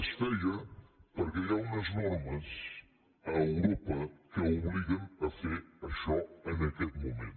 es feia perquè hi ha unes normes a europa que obliguen a fer això en aquest moment